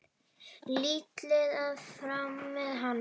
Lillý: Að fara með hana?